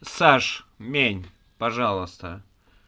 саш мень пожалуйста